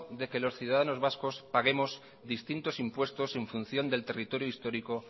de que los ciudadanos vascos paguemos distintos impuestos en función del territorio histórico